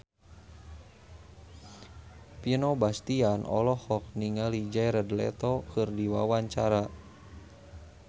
Vino Bastian olohok ningali Jared Leto keur diwawancara